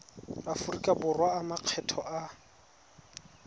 aforika borwa a makgetho a